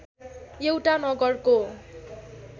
एउटा नगरको